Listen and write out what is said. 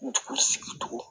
Dugu sigi dugu